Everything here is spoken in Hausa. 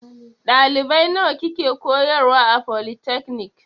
Ɗalibai nawa kike koyarwa a folitakanik?